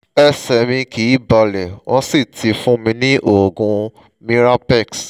ẹsẹ̀ mi kìí balẹ̀ wọ́n sì ti fún mi ní oògùn mirapex